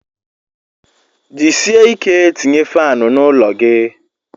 Jisie ike tinye faanụ n'ụlọ gi